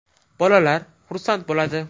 Bolalar xursand bo‘ladi.